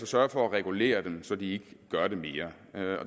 sørge for at regulere dem så de ikke gør det mere